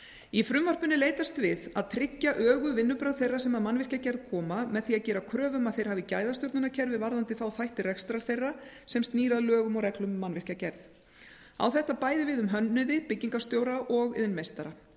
í frumvarpinu er leitast við að tryggja öguð vinnubrögð þeirra sem að mannvirkjagerð koma með því að gera kröfu um að þeir hafi gæðastjórnunarkerfi varðandi þá þætti rekstrar þeirra sem snýr að lögum og reglum um mannvirkjagerð á þetta bæði við um hönnuði byggingarstjóra og iðnmeistara